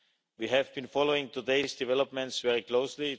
We have been following today's developments very closely.